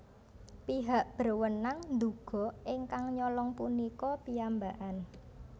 Pihak berwenang nduga ingkang nyolong punika piyambakan